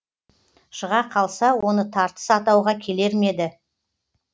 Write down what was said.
шыға қалса оны тартыс атауға келер ме еді